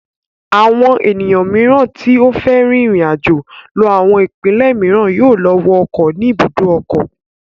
Àwọn ènìyàn mìíràn tí ó fẹ́ rin ìrìnàjò lọ àwọn ìpínlẹ̀ mìíràn yóò lọ wọ ọkọ̀ ní ibùdó ọkọ̀.